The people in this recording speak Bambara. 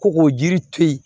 Ko k'o yiri to yen